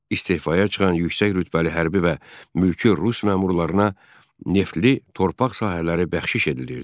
İstehfaya çıxan yüksək rütbəli hərbiyə və mülki rus məmurlarına neftli torpaq sahələri bəxşiş edilirdi.